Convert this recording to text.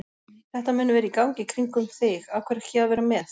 Þetta mun vera í gangi í kringum þig, af hverju ekki að vera með?